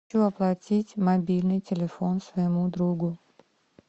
хочу оплатить мобильный телефон своему другу